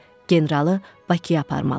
Generalı Bakıya aparmalı idi.